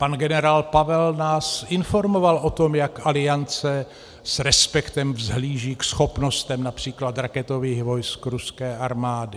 Pan generál Pavel nás informoval o tom, jak Aliance s respektem vzhlíží ke schopnostem například raketových vojsk ruské armády.